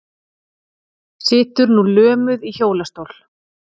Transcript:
Situr nú lömuð í hjólastól.